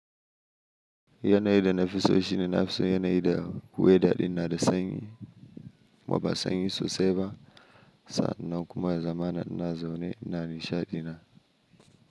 Yanayi da nafi so shine nafi so yanayi da weda din da sanyi, waba sanyi so seba sa nan kuma ya zaman ina zo ne ina nisha dina.